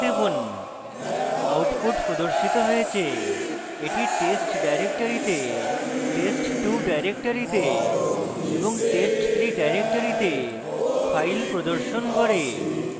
enter টিপুন output প্রদর্শিত হয়েছে the test ডাইরেক্টরীতে test2 ডাইরেক্টরীতে এবং test3 ডাইরেক্টরীতে files প্রদর্শন করে